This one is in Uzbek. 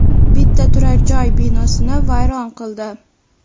bitta turar-joy binosini vayron qildi.